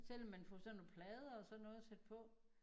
Selvom man får sådan nogle plader og sådan noget sat på